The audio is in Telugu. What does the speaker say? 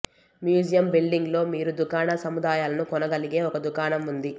మ్యూజియం బిల్డింగ్ లో మీరు దుకాణ సముదాయాలను కొనగలిగే ఒక దుకాణం ఉంది